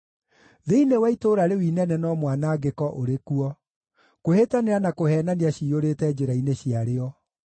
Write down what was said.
Thĩinĩ wa itũũra rĩu inene no mwanangĩko ũrĩ kuo; kwĩhĩtanĩra na kũheenania ciyũrĩte njĩra-inĩ ciarĩo.